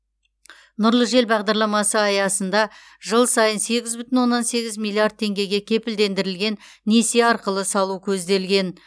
нұрлы жер бағдарламасы аясында жыл сайын сегіз бүтін оннан сегіз миллиард теңгеге кепілдендірілген несие арқылы салу көзделген